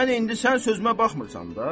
Yəni indi sən sözümə baxmırsan da.